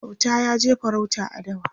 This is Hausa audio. Auta yaje farauta a dawa